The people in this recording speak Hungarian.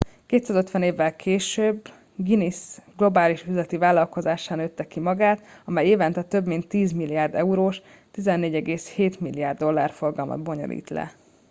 250 évvel később a guinness globális üzleti vállalkozássá nőtte ki magát amely évente több mint 10 milliárd eurós 14,7 milliárd dollár forgalmat bonyolít le